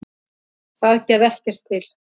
Það gerði ekki til.